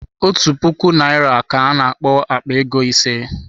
Otu puku naira ka ana akpo Akpa ego ise